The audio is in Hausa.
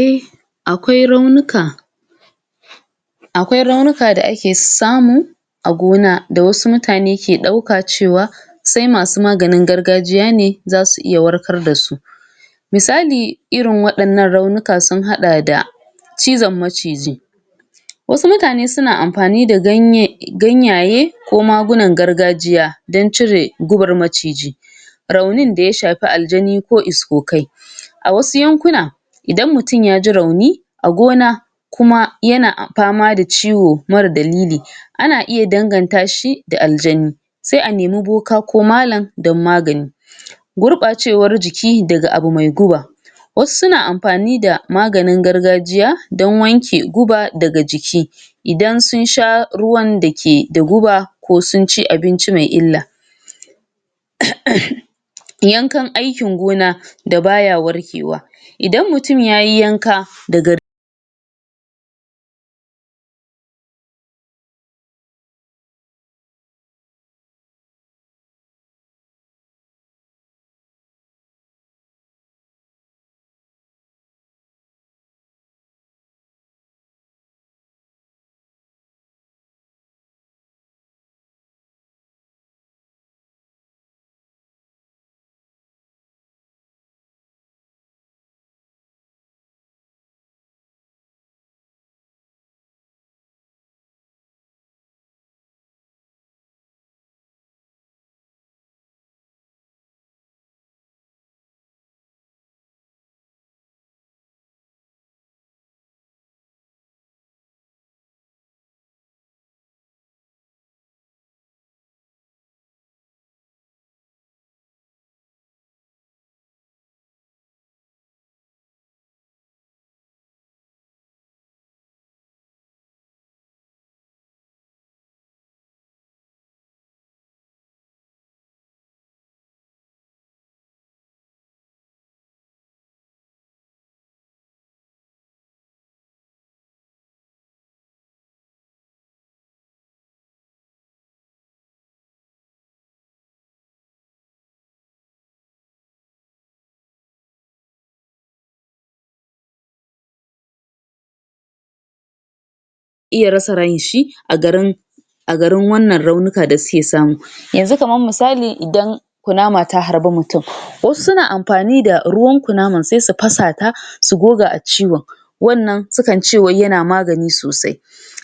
eh akwai raunuka? akwai raunuka da ake samu a gona da wasu mutane ke ɗauka cewa sai masu maganin gargajiya ne zasu iya warkar dasu misali irin waɗannan raunuka sun haɗa da cizan maciji wasu mutane suna ampani da ganye ganyaye ko magunan gargajiya dan cire gubar maciji raunin da ya sahpi aljani ko iskokai? a wasu yankuna idan mutun yaji rauni a gona kuma yana pama da ciwo mara dalili ana iya danganta shi da aljani sai a nemi boka ko malan don magani? gurɓacewar jiki daga abu mai guba wasu suna ampani da maganin gargajiya don wanke guba daga jiki idan sun sha ruwan da ke da guba ko sun ci abinci mai illa?? yankan aikin gona da baya warkewa idan mutun yayi yanka dagar iya rasa ranshi a garin a garin wannan raunuka da suke samu yanzu kaman misali idan kunama ta harbi mutun wasu suna ampani da ruwan kunaman sai su pasa ta su goga a ciwon wannan su kan ce wai yana magani sosai